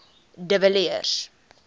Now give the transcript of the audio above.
de villiers